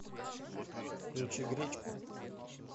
включи гречку